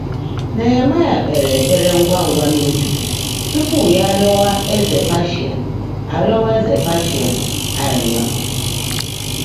Néhẹ̀máị́à kpeèrè ékpèré ńgwá ńgwá n’óbi túpú yá árị́ọ́wá éze Pèrsíà árị́ọ́wá éze Pèrsíà árị́ị́ọ́.